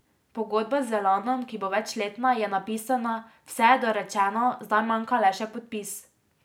Pogodba z Elanom, ki bo večletna, je napisana, vse je dorečeno, zdaj manjka le še podpis.